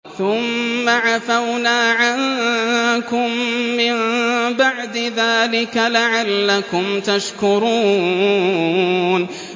ثُمَّ عَفَوْنَا عَنكُم مِّن بَعْدِ ذَٰلِكَ لَعَلَّكُمْ تَشْكُرُونَ